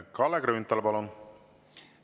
Kalle Grünthal, palun!